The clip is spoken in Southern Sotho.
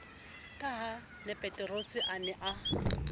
ka hapeterose a ne a